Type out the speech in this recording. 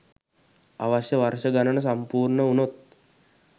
අවශ්‍ය වර්ෂ ගණන සම්පුර්ණ වුණොත්